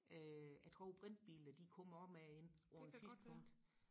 øh jeg tror brintbiler de kommer også med ind på et tidspunkt